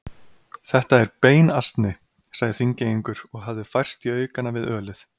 Þetta er beinasni, sagði Þingeyingur og hafði færst í aukana við ölið.